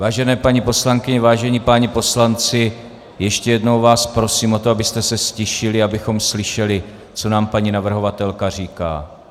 Vážené paní poslankyně, vážení páni poslanci, ještě jednou vás prosím o to, abyste se ztišili, abychom slyšeli, co nám paní navrhovatelka říká.